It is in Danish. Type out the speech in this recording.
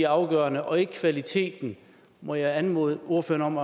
afgørende og ikke kvaliteten må jeg anmode ordføreren